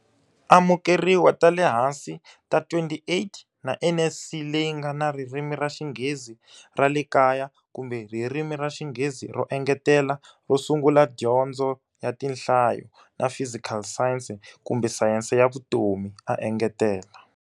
Amukeriwa ta le hansi ta 28 na NSC leyi nga na Ririmi ra Xinghezi ra le Kaya kumbe Ririmi ra Xinghezi ro Engetela ro Sungula, dyondzo ya tinhlayo, na fizikali sayense kumbe sayense ya vutomi, a engetela.